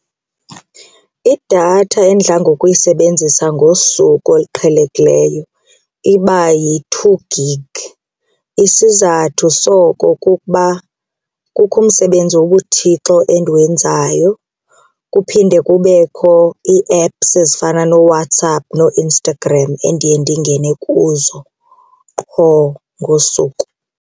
Idatha endidla ngokuyisebenzisa ngosuku oluqhelekileyo iba yi-two gig. Isizathu soko kukuba kukho umsebenze wobuThixo endiwenzayo kuphinde kubekho ii-apps ezifana nooWhatsApp nooInstagram endiye ndingene kuzo qho ngosuku.